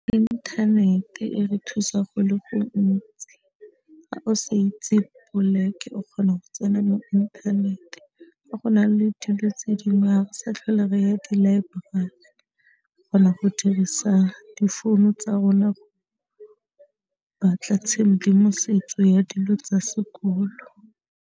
Inthanete e re thusa go le go ntsi ha o sa itse poloke o kgona go tsena mo inthanete, fa go na le dilo tse dingwe ha re sa tlhola re ya dilaeborari kgona go dirisa difounu tsa rona go batla tshedimosetso ya dilo tsa sekolo.